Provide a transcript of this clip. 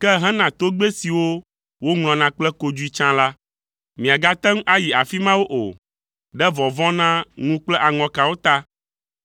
Ke hena togbɛ siwo woŋlɔna kple kodzoe tsã la, miagate ŋu ayi afi mawo o, ɖe vɔvɔ̃ na ŋu kple aŋɔkawo ta,